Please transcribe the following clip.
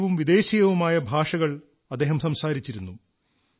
ഭാരതീയവും വിദേശീയവുമായ ഭാഷകൾ അദ്ദേഹം സംസാരിച്ചിരുന്നു